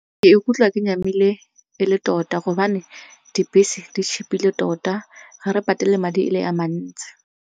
Ke ikutlwa ke nyamile e le tota gobane dibese di-cheap-ile tota ga re patele madi e le a mantsi.